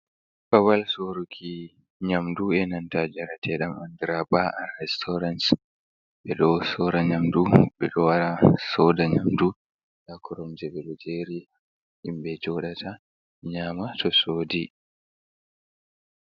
Babal soruki nyamdu, e nanta njaretedam dum andira ba'a restaurans. Ɓe ɗo soora nyamdu, ɓe ɗo wara soda nyamdu. Nda kuromje ɓe ɗo jeri himbe jodata nyama to sodi.